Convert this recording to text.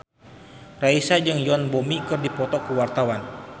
Raisa jeung Yoon Bomi keur dipoto ku wartawan